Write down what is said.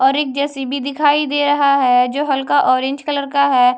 और एक जैसी भी दिखाई दे रहा है जो हल्का ऑरेंज कलर का है।